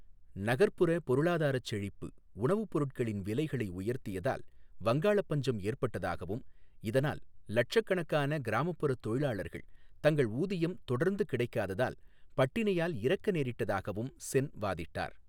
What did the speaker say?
நகர்ப்புற பொருளாதார செழிப்பு உணவுப் பொருட்களின் விலைகளை உயர்த்தியதால் வங்காள பஞ்சம் ஏற்பட்டதாகவும், இதனால் லட்சக்கணக்கான கிராமப்புற தொழிலாளர்கள் தங்கள் ஊதியம் தொடர்ந்து கிடைக்காததால் பட்டினியால் இறக்க நேரிட்டதாகவும் சென் வாதிட்டார்.